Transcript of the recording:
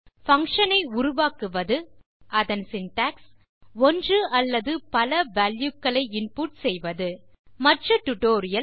function ஐ உருவாக்குவது அதன் சின்டாக்ஸ் ஒன்று அல்லது பல வால்யூ க்களை இன்புட் செய்வது மற்ற டியூட்டோரியல்